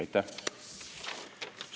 Aitäh!